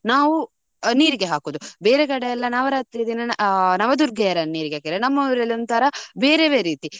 ನಾವು ನೀರಿಗೆ ಹಾಕುದು. ಬೇರೆ ಕಡೆ ಎಲ್ಲ ನವರಾತ್ರಿ ದಿನ ಆ ನವ ದುರ್ಗೆಯರನ್ನು ನೀರಿಗೆ ಹಾಕಿದ್ರೆ. ನಮ್ಮ ಊರಲ್ಲಿ ಒಂಥರ ಬೇರೆವೆ ರೀತಿ.